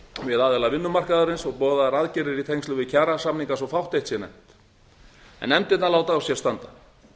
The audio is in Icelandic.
við aðila vinnumarkaðarins og boðaðar aðgerðir í tengslum við kjarasamninga svo fátt eitt sé nefnt en efndirnar láta á sér standa